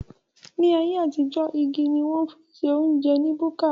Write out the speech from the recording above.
Ní ayé àtijó, igi ni wón fi ń se óúnjẹ ní búkà